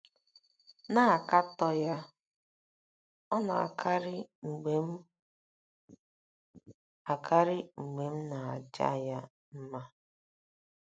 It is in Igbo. na - akatọ ya ọ̀ na - akarị mgbe m akarị mgbe m na - aja ya mma?